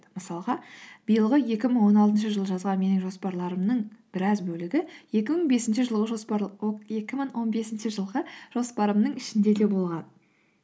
мысалға биылғы екі мың он алтыншы жылы жазған менің жоспарларымның біраз бөлігі екі мың бесінші жылғы жоспар екі мың он бесінші жылғы жоспарымның ішінде де болған